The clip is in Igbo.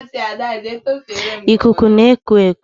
Ikuku na-eku eku